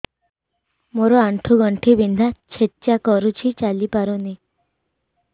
ମୋର ଆଣ୍ଠୁ ଗଣ୍ଠି ବିନ୍ଧା ଛେଚା କରୁଛି ଚାଲି ପାରୁନି